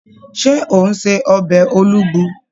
Ṣé ò ń se ọbẹ̀ Olugbu?